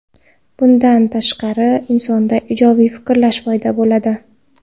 Bundan tashqari, insonda ijobiy fikrlash paydo bo‘ladi.